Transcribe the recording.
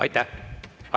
Aitäh!